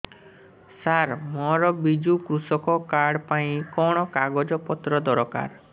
ସାର ମୋର ବିଜୁ କୃଷକ କାର୍ଡ ପାଇଁ କଣ କାଗଜ ପତ୍ର ଦରକାର